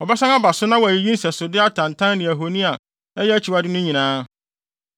“Wɔbɛsan aba so na wɔayiyi nsɛsode atantan ne ahoni a ɛyɛ akyiwade no nyinaa.